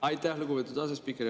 Aitäh, lugupeetud asespiiker!